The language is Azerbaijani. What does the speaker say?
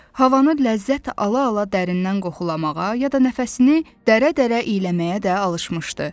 Havanı ləzzət ala-ala dərindən qoxulamağa ya da nəfəsini dərə-dərə iyləməyə də alışmışdı.